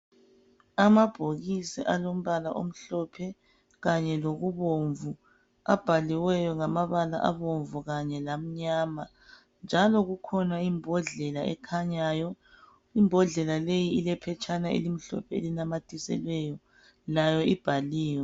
Amabhokisi alombala omhlophe kanye lokubomvu abhaliweyo ngamabala abomvu kanye lamnyama njalo kukhona imbodlela ekhanyayo. Imbodlela leyi ilephetsha elimhlophe elinamathiselweyo, layo ibhaliwe.